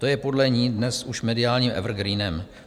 To je podle ní dnes už mediálním evergreenem.